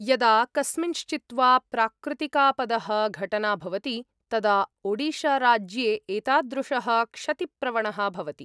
यदा कस्मिंश्चित् वा प्राकृतिकापदः घटना भवति, तदा ओडिशाराज्ये एतादृशः क्षतिप्रवणः भवति।